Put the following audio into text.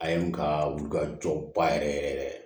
A ye n ka wuli ka jɔ ba yɛrɛ yɛrɛ yɛrɛ